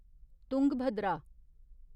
Tungabhadra